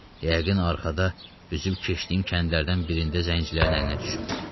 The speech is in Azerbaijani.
Yəqin arxada üzüb keçdiyim kəndlərdən birində zəncirlərin əlinə düşüb.